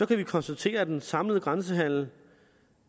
kan vi konstatere at den samlede grænsehandel